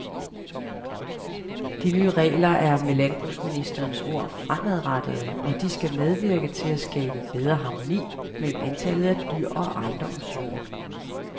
De nye regler er med landbrugsministerens ord fremadrettede, og de skal medvirke til at skabe bedre harmoni mellem antallet af dyr og ejendommens jord.